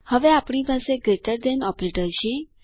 હવે આપણી પાસે ગ્રેટર ધેન ઓપરેટર છે